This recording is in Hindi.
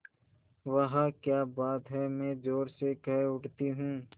वाह क्या बात है मैं ज़ोर से कह उठती हूँ